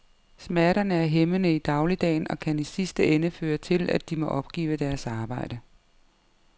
Smerterne er hæmmende i dagligdagen og kan i sidste ende føre til, at de må opgive deres arbejde.